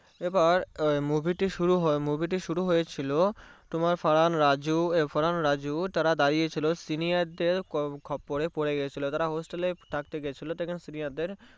এবার Movie টি শুরু হয়েছিল তোমার ফারহান রাজু ফারহান রাজু তারা দাঁড়িয়ে ছিল Senior দেড় খোপ করে পরে গেছিলো Hostel গেছিলো সেখানে Senior দেড়